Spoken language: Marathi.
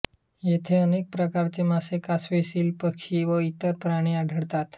येथे अनेक प्रकारचे मासे कासवे सील पक्षी व इतर प्राणी आढळतात